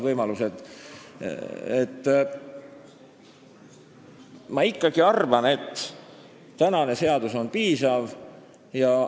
Ma ikkagi arvan, et tänane seadus on piisav.